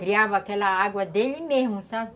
Criava aquela água dele mesmo, sabe?